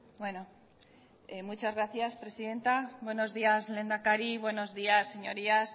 bueno muchas gracias presidenta buenos días lehendakari buenos días señorías